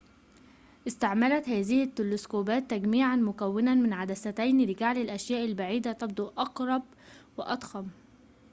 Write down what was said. استعملت هذه التلسكوبات تجميعاً مكوناً من عدستين لجعل الأشياء البعيدة تبدو أقرب وأضخم